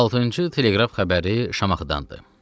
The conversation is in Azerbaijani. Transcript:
Altıncı teleqraf xəbəri Şamaxıdandır.